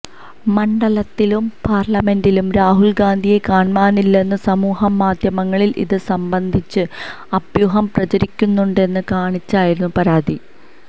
മണ്ഡലത്തിലും പാർലമെന്റിലും രാഹുൽ ഗാന്ധിയെ കാണ്മാനില്ലെന്നും സമൂഹമാധ്യമങ്ങളിൽ ഇത് സംബന്ധിച്ച് അഭ്യൂഹം പ്രചരിക്കുന്നുണ്ടെന്നും കാണിച്ച് ആയിരുന്നു പരാതി